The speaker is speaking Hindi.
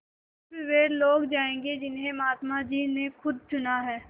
स़िर्फ वे लोग जायेंगे जिन्हें महात्मा जी ने खुद चुना है